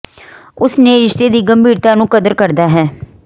ਉਸ ਨੇ ਰਿਸ਼ਤੇ ਦੀ ਗੰਭੀਰਤਾ ਨੂੰ ਕਦਰ ਕਰਦਾ ਹੈ